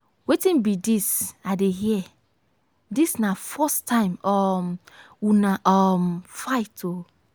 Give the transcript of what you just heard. wetin be dis i dey hear? dis na the first time um una um fight oo.